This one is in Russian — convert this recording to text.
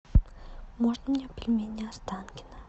можно мне пельмени останкино